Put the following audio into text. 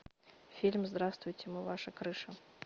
фильм здравствуйте мы ваша крыша